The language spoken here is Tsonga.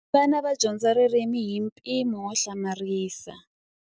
vana va dyondza ririmi hi mpimo wo hlamarisa